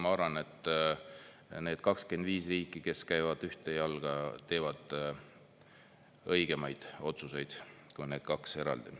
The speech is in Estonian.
Ma arvan, et need 25 riiki, kes käivad ühte jalga, teevad õigemaid otsuseid kui need kaks eraldi.